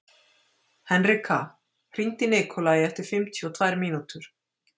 Henrika, hringdu í Nikolai eftir fimmtíu og tvær mínútur.